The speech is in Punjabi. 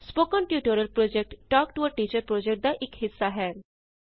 spoken tutorial project talk to a teacher ਪੋ੍ਜੈਕਟਦਾ ਇਕ ਹਿੱਸਾ ਹੈ